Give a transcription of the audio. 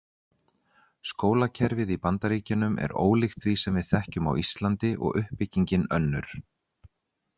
Skólakerfið í Bandaríkjunum er ólíkt því sem við þekkjum á Íslandi og uppbyggingin önnur.